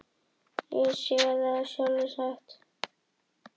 Sé það nú sjálfsagt.